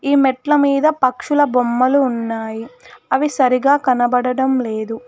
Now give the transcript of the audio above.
ఈ మెట్ల మీద పక్షుల బొమ్మలు ఉన్నాయి అవి సరిగా కనబడటం లేదు.